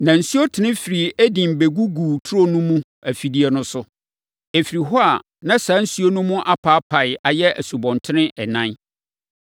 Na nsuo tene firi Eden bɛgugu turo no mu afifideɛ no so; ɛfiri hɔ a, na saa nsuo no mu apaapae ayɛ nsubɔntene ɛnan.